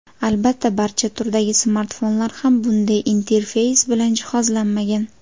Albatta barcha turdagi smartfonlar ham bunday interfeys bilan jihozlanmagan.